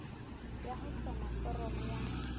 ya ho hloma foramo ya